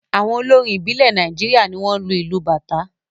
Àwọn olórin ìbílẹ̀ Nàìjíríà ni wọ́n ń lo ìlù Bàtá.